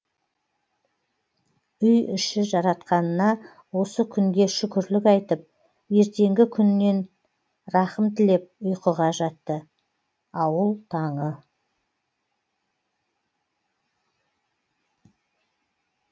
үй іші жаратқанына осы күнге шүкірлік айтып ертеңгі күнінен рахым тілеп ұйқыға жатты ауыл таңы